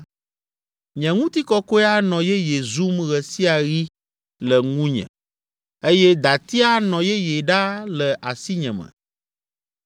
Nye ŋutikɔkɔe anɔ yeye zum ɣe sia ɣi le ŋunye eye dati anɔ yeye ɖaa le asinyeme.’